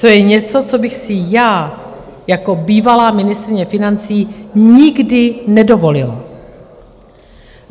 To je něco, co bych si já jako bývalá ministryně financí nikdy nedovolila.